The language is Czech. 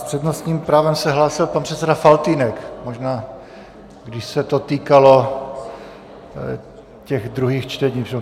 S přednostním právem se hlásil pan předseda Faltýnek, možná by se to týkalo těch druhých čtení.